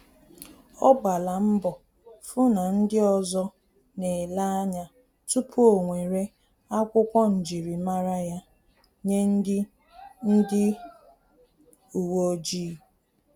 Ọ gbala mbo fu na ndị ọzọ na-ele anya tupu o nwere akwokwu njirimara ya nye ndị ndị uweojii